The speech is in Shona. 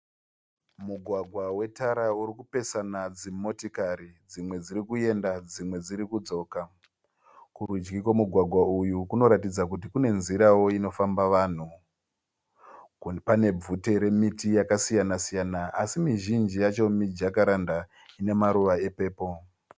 Mugwagwa we tara urikupesana dzimotikari. Dzimwe dzirikuyenda dzimwe dzirikudzoka. Kurudyi kwemu gwagwa uyu Kuno ratidza kuti Kune nzira wo inofamba vanhu. Pane bvute remití yakasiyana-siyana así mizhinji yacho mijacaranda ine maruva e pepuru.